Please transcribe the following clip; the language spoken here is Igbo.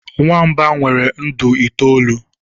nwamba nwere ndụ itoolu